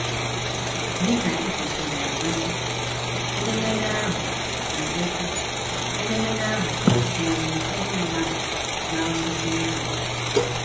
Dị ka ekwesịrị ekwesị, edemede ahụ ekwesị, edemede ahụ tụnyere ụfọdụ mmadụ na osisi nkwụ.